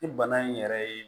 Ni bana in yɛrɛ ye